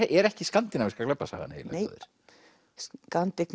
er ekki skandinavíska glæpasagan nei